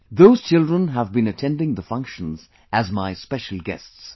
Those children have been attending the functions as my special guests